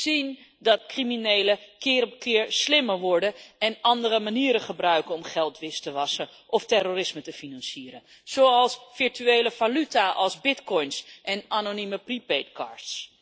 We zien dat criminelen keer op keer slimmer worden en andere manieren gebruiken om geld wit te wassen of terrorisme te financieren, zoals virtuele valuta als bitcoins en anonieme prepaid cards.